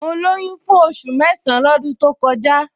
Mo lóyún fún oṣù mẹ́san-án lọ́dún to kọjá